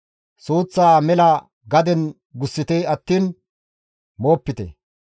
Suuththaa mela gaden gussite attiin moopite.